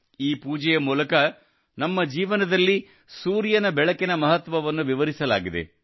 ಈ ಪೂಜೆಯ ಮೂಲಕ ನಮ್ಮ ಜೀವನದಲ್ಲಿ ಸೂರ್ಯನ ಬೆಳಕಿನ ಮಹತ್ವವನ್ನು ವಿವರಿಸಲಾಗಿದೆ